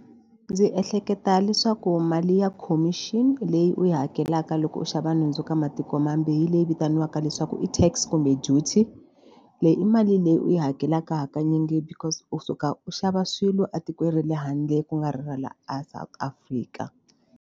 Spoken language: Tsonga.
Ndzi ehleketa leswaku mali ya khomixini leyi u yi hakelaka loko u xava nhundzu ka matiko mambe hi leyi vitaniwaka leswaku i tax kumbe duty. Leyi i mali leyi u yi hakelaka hakanyingi because u suka u xava swilo a tikweni ra le handle ku nga ri ra laha a South Africa.